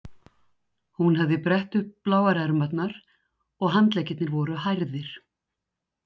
Hún hafði brett upp bláar ermarnar og handleggirnir voru hærðir.